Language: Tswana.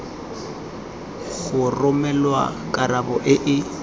go romelwa karabo e e